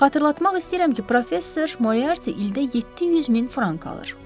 Xatırlatmaq istəyirəm ki, professor Moriarti ildə 700 min frank alır.